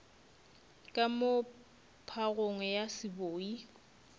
ka moo phagong ya seboi